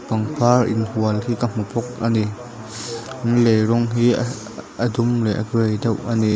pangpar inhual hi ka hmu bawk a ni in lei rawng hi a a dum leh grey deuh a ni.